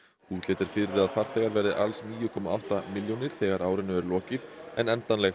útlit er fyrir að farþegar verði alls níu komma átta milljónir þegar árinu er lokið en endanleg